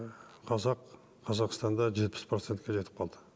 қазақ қазақстанда жетпіс процентке жетіп қалды